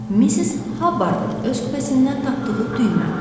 Missis Habardın öz kupəsindən tapdığı düymə.